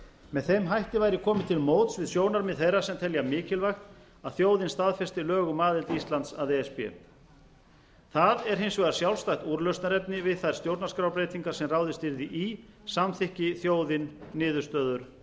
með þeim hætti væri komið til móts við sjónarmið þeirra sem telja mikilvægt að þjóðin staðfesti lög um aðild íslands að e s b það er hins vegar sjálfstætt úrlausnarefni við þær stjórnarskrárbreytingar sem ráðist yrði í samþykki þjóðin niðurstöður